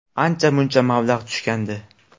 Ancha-muncha mablag‘ tushgandi.